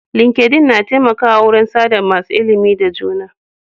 Linkedin na taimakawa wurin sa da masu ilimi da juna.